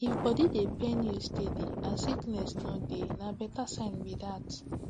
if body dey pain you steady and sickness no dey na better sign be that